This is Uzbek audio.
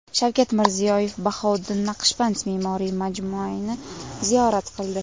Shavkat Mirziyoyev Bahouddin Naqshband me’moriy majmuini ziyorat qildi.